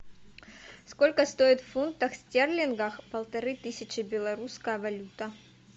сколько стоит в фунтах стерлингах полторы тысячи белорусская валюта